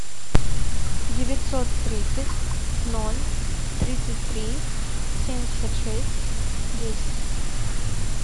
девятьсот тридцать ноль тридцать три семьдесят шесть десять